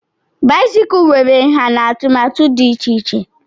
báịsikụ nwere ǹhá na atụmatụ dị iche iche